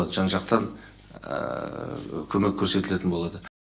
жан жақтан көмек көрсетілетін болады